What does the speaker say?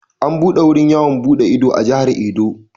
An buɗe wurin yawon buɗe ido a Jihar Edo.